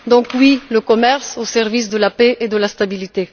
Donc oui au commerce au service de la paix et de la stabilité.